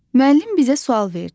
Müəllim bizə sual verdi.